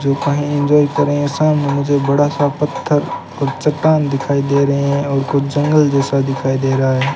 जो कही जो ये क्रेशन मुझे बड़ा सा पत्थर और चट्टान दिखाई दे रहे हैं और कुछ जंगल जैसा दिखाई दे रहा है।